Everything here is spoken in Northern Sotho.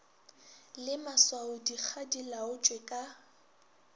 le maswaodikga di laotšwe ka